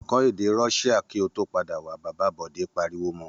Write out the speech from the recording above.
Kọ́ èdè Russia kí ó tó padà wá! Bàbá Bọ̀dé pariwo mọ.